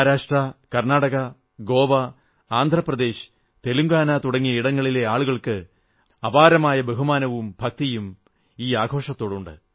മഹാരാഷ്ട്ര കർണാടക ഗോവ ആന്ധ്ര പ്രദേശ് തെലങ്കാന തുടങ്ങിയ ഇടങ്ങളിലെ ആളുകൾക്ക് അപാരമായ ബഹുമാനവും ഭക്തിയുമുണ്ട്